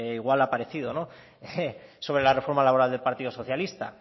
igual lo ha parecido sobre la reforma laboral del partido socialista